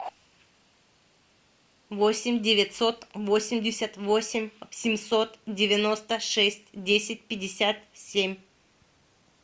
восемь девятьсот восемьдесят восемь семьсот девяносто шесть десять пятьдесят семь